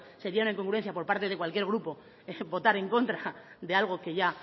sería una incongruencia por parte de cualquier grupo votar en contra de algo que ya